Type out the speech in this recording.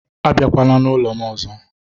Abịakwala n'ụlọ m ọzọ